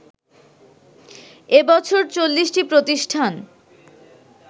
এবছর ৪০টি প্রতিষ্ঠান